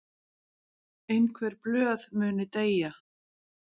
Einhver blöð muni deyja